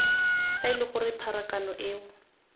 fa ele gore pharakano eo